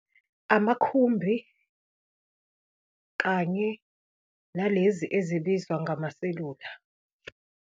Amakhumbi kanye nalezi ezibizwa ngamaselula.